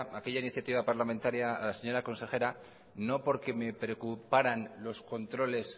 aquella iniciativa parlamentaria a la señora consejera no porque me preocuparan los controles